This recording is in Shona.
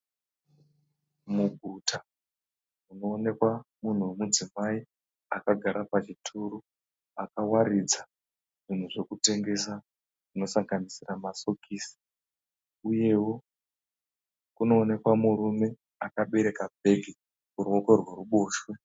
Muguta, munoonekwa munhu womudzimai akagara pachituru akawaridza zvinhu zvokutengesa zvinosanganisira masokisi uyewo kunooneka murume akabereka bhegi kuruoko rweruboshwe.